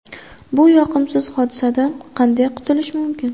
Bu yoqimsiz hodisadan qanday qutulish mumkin?